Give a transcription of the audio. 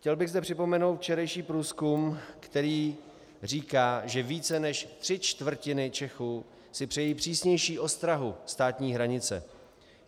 Chtěl bych zde připomenout včerejší průzkum, který říká, že víc než tři čtvrtiny Čechů si přejí přísnější ostrahu státní hranice.